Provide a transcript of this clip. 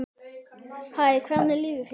Hæ, hvernig líður þér?